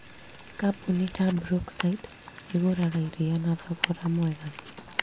Kambuni ta brookside ĩgũraga iria na thogora mwega